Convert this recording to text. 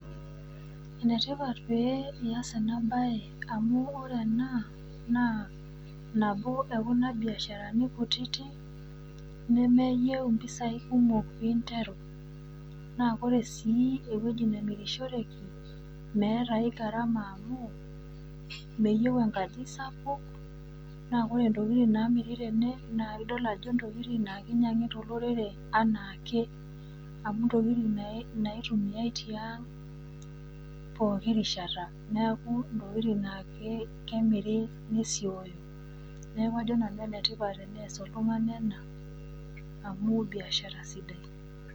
Enetipat pee ias ena baye amu ore ena naa nabo e kuna biasharani kutiti nemeyou  impisai kumok piinteru. Naa ore sii ewueji namirishoreki meetaai  garama amu meyou enkaji sapuk naa ore ntokitin namiri tene naa idol ajo ntokitin keinyang'ita olorere anaake amu ntokitin nai, naitumiai tiang' pooki rishata. Neaku inatoki naake kemiri nmesioyo, neaku ajo nanu enetipat teneas oltung'ani ena amu biashara sidai.